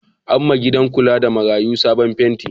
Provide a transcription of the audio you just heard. An yiwa gida kula da marayu sabon fenti.